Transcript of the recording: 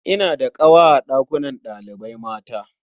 Ina da ƙawa a ɗakunan ɗalibai mata.